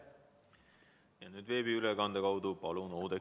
Nüüd veebiülekande kaudu Oudekki Loone, palun!